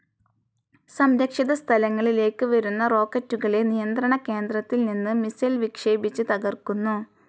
സംരക്ഷിത സ്ഥലങ്ങളിലേക്ക് വരുന്ന റോക്കറ്റുകളെ നിയന്ത്രണ കേന്ദ്രത്തിൽ നിന്ന് മിസൈൽ വിക്ഷേപിച്ച് തകർക്കുന്നു.